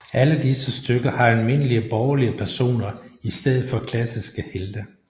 Alle disse stykker har almindelige borgerlige personer i stedet for klassiske helte